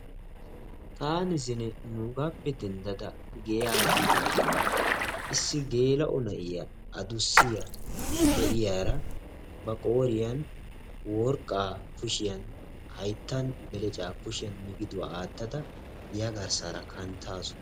Taani zine nuugaappe denddada giya biidaashin issi geela'o na'iya addussiya lo'iyara ba qooriyan worqqaa, hayttan beleccaa, kushiyan miggidduwa aattada giya garssaara kanttaasu.